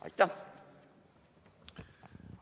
Aitäh!